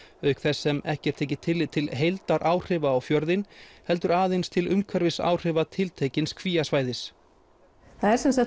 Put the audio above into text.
auk þess sem ekki er tekið tillit til heildaráhrifa á fjörðinn heldur aðeins til umhverfisáhrifa tiltekins kvíasvæðis það er sem sagt